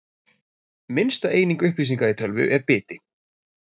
Minnsta eining upplýsinga í tölvu er biti.